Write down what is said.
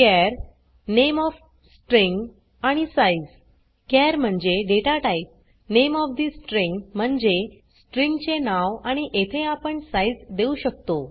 चार name of string आणि size char म्हणजे data type name of the string म्हणजे स्ट्रिँग चे नाव आणि येथे आपण साइज़ देऊ शकतो